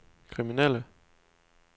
kriminelle